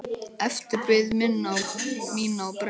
Eftir bið mína á brennu.